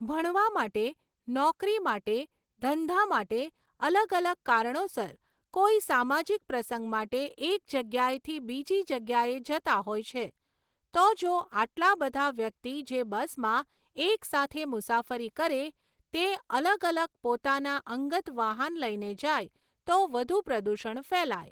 ભણવા માટે, નોકરી માટે, ધંધા માટે અલગ અલગ કારણોસર કોઈ સામાજિક પ્રસંગ માટે એક જગ્યાએથી બીજી જગ્યાએ જતા હોય છે. તો જો આટલા બધા વ્યક્તિ જે બસમાં એક સાથે મુસાફરી કરે તે અલગ અલગ પોતાના અંગત વાહન લઈને જાય તો વધુ પ્રદુષણ ફેલાય.